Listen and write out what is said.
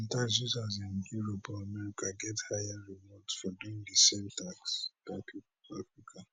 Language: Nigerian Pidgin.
users in europe or america get higher rewards for doing di same tasks